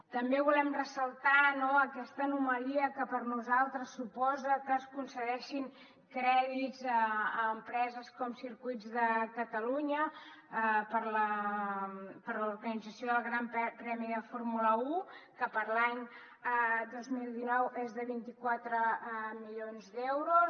també volem ressaltar aquesta anomalia que per nosaltres suposa que es concedeixin crèdits a empreses com circuits de catalunya per a l’organització del gran premi de fórmula un que per a l’any dos mil dinou és de vint quatre milions d’euros